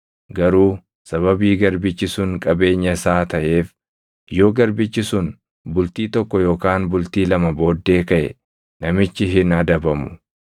garuu sababii garbichi sun qabeenya isaa taʼeef yoo garbichi sun bultii tokko yookaan bultii lama booddee kaʼe, namichi hin adabamu.